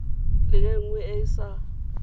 le nngwe e e sa